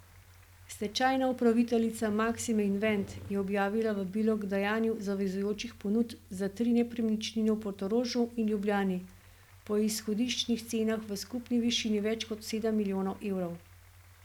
Stečajna upraviteljica Maksime Invest je objavila vabilo k dajanju zavezujočih ponudb za tri nepremičnine v Portorožu in Ljubljani po izhodiščnih cenah v skupni višini več kot sedem milijonov evrov.